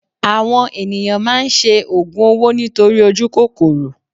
Àwọn ènìyàn máa ń ṣe ògùn owó nítorí ojú kòkòrò